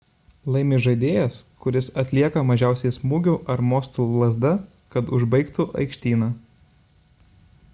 laimi žaidėjas kuris atlieka mažiausiai smūgių ar mostų lazda kad užbaigtų aikštyną